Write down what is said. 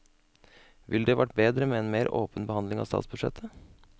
Ville det vært bedre med en mer åpen behandling av statsbudsjettet?